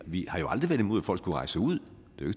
vi har jo aldrig været imod at folk skulle rejse ud